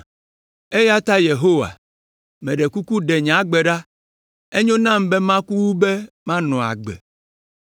Eya ta Yehowa, meɖe kuku ɖe nye agbe ɖa; enyo nam be maku wu be manɔ agbe.”